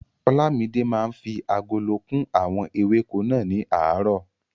Olamide máa ń fi agolo kún àwọn ewéko náà ní aràárọ̀.